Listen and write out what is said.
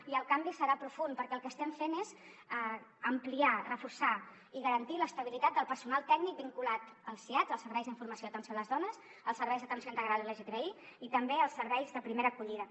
i el canvi serà profund perquè el que estem fent és ampliar reforçar i garantir l’estabilitat del personal tècnic vinculat als siads els serveis d’informació i atenció a les dones als serveis d’atenció integral lgtbi i també als serveis de primera acollida